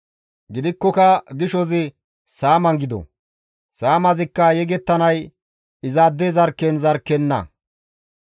Gidikkoka gishozi saaman gido; saamazikka yegettanay izaade zarkken zarkkenna.